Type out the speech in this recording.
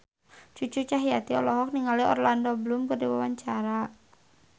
Cucu Cahyati olohok ningali Orlando Bloom keur diwawancara